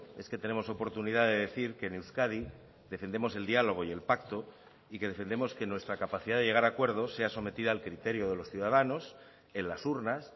es que tenemos oportunidad de decir que en euskadi defendemos el diálogo y el pacto y que defendemos que nuestra capacidad de llegar a acuerdos sea sometida al criterio de los ciudadanos en las urnas